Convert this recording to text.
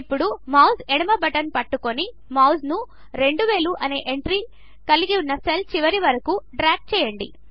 ఇప్పుడు మౌస్ ఎడమ బటన్ పట్టుకొని మౌస్ను 2000 అనే ఎంట్రీ కలిగిన సెల్ చివరికి వరకు డ్రాగ్ చేయండి